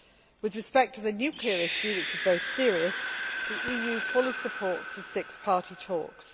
With respect to the nuclear issue, which is very serious, the EU fully supports the Six Party Talks.